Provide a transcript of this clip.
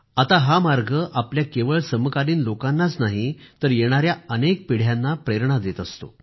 आता हा मार्ग आपल्या केवळ समकालीन लोकांनाच नाही तर येणाऱ्या अनेक पिढ्यांना प्रेरणा देत असतो